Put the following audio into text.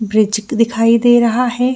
Bridge दिखाई दे रहा है।